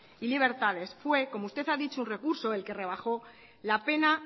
y libertades fue como usted ha dicho un recurso el que rebajo la pena